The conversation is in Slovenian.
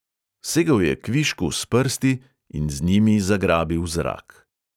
Segel je kvišku s prsti in z njimi zagrabil zrak.